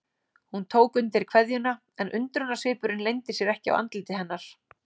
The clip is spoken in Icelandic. Hún tók undir kveðjuna en undrunarsvipurinn leyndi sér ekki á andliti hennar.